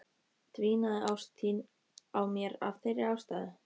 Dvínaði ást þín á mér af þeirri ástæðu?